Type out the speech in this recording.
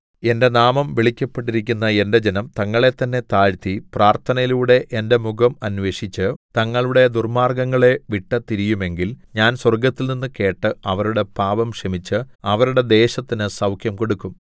എന്റെ നാമം വിളിക്കപ്പെട്ടിരിക്കുന്ന എന്റെ ജനം തങ്ങളെത്തന്നെ താഴ്ത്തി പ്രാർത്ഥനയിലൂടെ എന്റെ മുഖം അന്വേഷിച്ച് തങ്ങളുടെ ദുർമ്മാർഗ്ഗങ്ങളെ വിട്ടു തിരിയുമെങ്കിൽ ഞാൻ സ്വർഗ്ഗത്തിൽനിന്നു കേട്ട് അവരുടെ പാപം ക്ഷമിച്ച് അവരുടെ ദേശത്തിന് സൗഖ്യം കൊടുക്കും